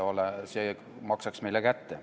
See maksaks meile kätte.